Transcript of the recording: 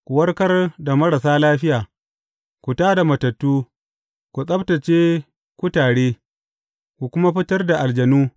Ku warkar da marasa lafiya, ku tā da matattu, ku tsabtacce kutare, ku kuma fitar da aljanu.